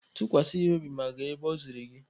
Tụkwasa ya obi ma gaa ebe o ziri gị!